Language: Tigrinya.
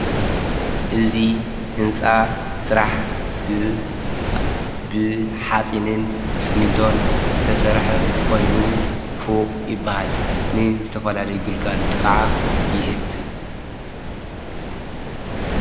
እዙይ ሕንፃ ጽራሕ ብ ኃጺንን ስሚንቶን ዝተሠርሐ ኾይኑ ፉቕ የበሃል ን ዘተፈላሉ ይግልጋሎቱ ከዓ ይህብ።